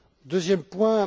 Deuxième point.